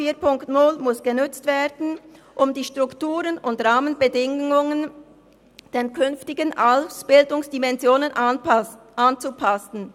4.0 muss genutzt werden, um die Strukturen und Rahmenbedingungen den künftigen Ausbildungsdimensionen anzupassen.